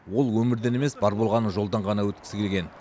ол өмірден емес бар болғаны жолдан ғана өткісі келген